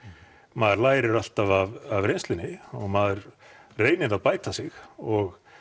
maður læri alltaf af reynslunni og maður reynir að bæta sig og